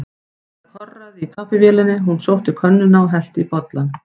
Það korraði í kaffivélinni, hún sótti könnuna og hellti í bollana.